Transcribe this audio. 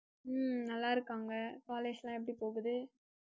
உம் நல்லா இருக்காங்க college லாம் எப்படி போகுது?